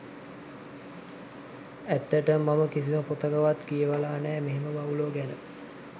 ඇත්තටම මම කිසිම පොතකවත් කියවල නෑ මෙහෙම වවුලො ගැන.